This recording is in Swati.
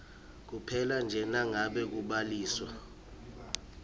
kuphelanje nangabe kubhaliswa